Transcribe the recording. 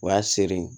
O y'a sere ye